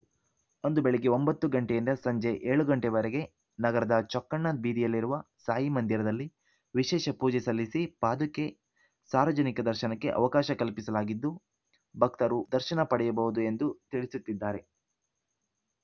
ಜಯಪುರ ಕೃಷಿ ಪತ್ತಿನ ಸಂಘದ ಸರ್ವ ಸದಸ್ಯರ ಸಭೆಯಲ್ಲಿ ವ್ಯಾಪಾರ ಗುಮಾಸ್ತ ನಾಗೇಂದ್ರರನ್ನು ಸನ್ಮಾನಿಸಲಾಯಿತು